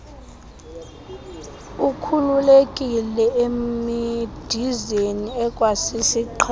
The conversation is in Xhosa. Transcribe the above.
ukhululekile emidizeni ikwasisiqhelo